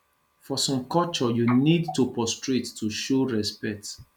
for some culture you need to prostrate to show respect